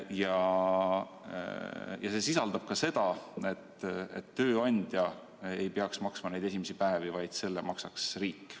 Meie ettepanek sisaldab ka seda, et tööandja ei peaks maksma esimesi päevi, vaid need maksaks riik.